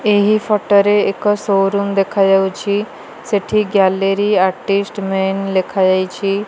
ଏହି ଫଟୋ ରେ ଏକ ସୋ-ରୁମ ଦେଖାଯାଉଛି ସେଠି ଗ୍ୟାଲେରୀ ଆର୍ଟିଷ୍ଟ ମେନ ଲେଖାଯାଇଛି।